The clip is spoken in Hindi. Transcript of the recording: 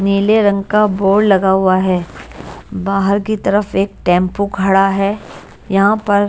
नीले रंग का बोर्ड लगा हुआ है बाहर की तरफ एक टेम्पो खड़ा है यहां पर --